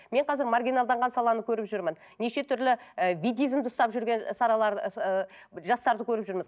мен қазір маргиналданған саланы көріп жүрмін неше түрлі і видизмді ұстап жүрген і ыыы жастарды көріп жүрміз